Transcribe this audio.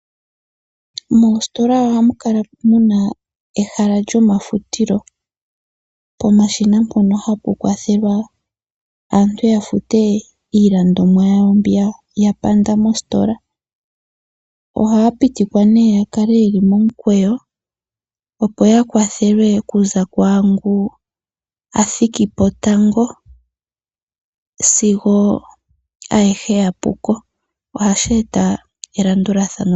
Moositola ohamu kala muna ehala lyomafutilo ,pomashina mpoka hapu kwathelwa aantu yafute iilandomwa yawo mbi yapanda mositola. Ohaya pitikwa nee yakale yeli momukweyo opo ya kwathelwe okuza kwaangu athikipo tango sigo ayehe yapuko. Ohashi eta elandulathano.